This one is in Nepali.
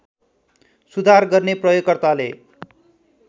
सुधार गर्ने प्रयोगकर्ताले